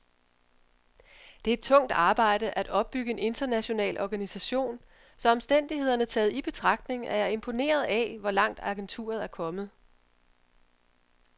Det er tungt arbejde at opbygge en international organisation, så omstændighederne taget i betragtning er jeg imponeret af, hvor langt agenturet er kommet.